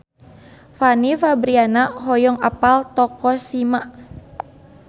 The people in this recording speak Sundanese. Fanny Fabriana hoyong apal Tokushima